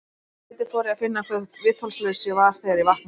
Um þetta leyti fór ég að finna hve viðþolslaus ég var þegar ég vaknaði.